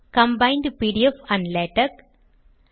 combined PDF and LaTeX